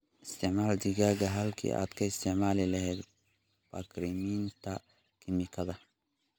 Isticmaal digada halkii aad ka isticmaali lahayd bacriminta kiimikada.